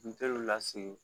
N teriw la segin